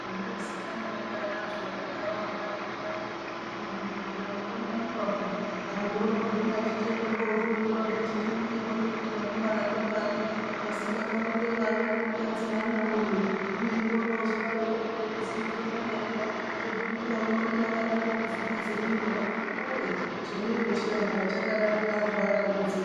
Zvaizikanwa ndiyani andu akagara mumakanyi muya kuti kuzbibhedhlera kunoendwa pe antu oroguma ochichenda kunohloyiwa vechichiningirwa kuti vanobara ngevari vasingabari ngevari ana kadzi nevana rume kumweni korozodaro kopiyani zimu khuhlana riya kuti umwe ngaumwe unenge akadaroko kufukidzwa mwiri akiti we chemiro chiya hayi chakadarika antu atambudzika.